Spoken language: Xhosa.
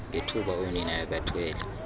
ngethuba oonina bebathwele